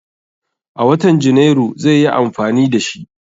A watan Janairu zai yi amfani da shi.